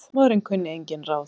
En húsmóðirin kunni engin ráð.